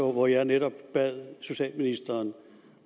hvor jeg netop bad socialministeren